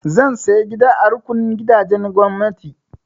Zan saya gida a rukunin gidajen gwamnati.